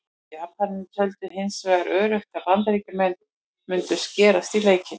Japanar töldu hins vegar öruggt að Bandaríkin mundu skerast í leikinn.